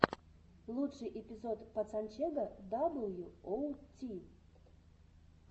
лучший эпизод пацанчега дабл ю оу ти